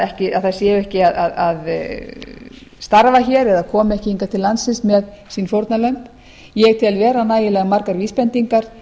kynlífsiðnað að þær séu ekki að starfa hér eða komi ekki hingað til landsins með sín fórnarlömb ég tel vera nægilega margar vísbendingar